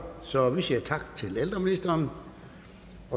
så vi siger tak til ældreministeren